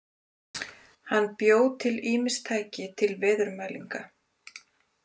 Hann bjó til ýmis tæki til veðurmælinga.